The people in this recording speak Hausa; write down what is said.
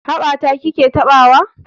Haɓa ta ki ke taɓawa?